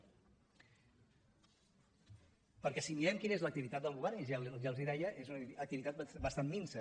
perquè si mirem quina és l’activitat del govern i ja els ho deia és una activitat bastant minsa